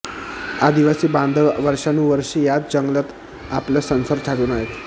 आदिवासी बांधव वर्षानुवष्रे याच जंगलात आपला संसार थाटून आहेत